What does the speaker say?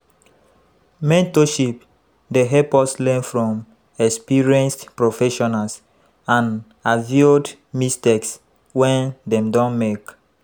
Mentorship dey help us learn from experienced professionals and aviod mistakes wey dem don make.